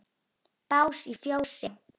Bás í fjósi?